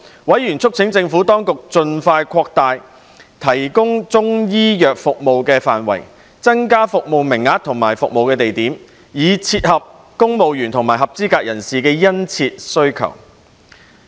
委員促請政府當局盡快擴大提供中醫藥服務的範圍，增加服務名額和服務地點，以切合公務員及合資格人士的殷切需求。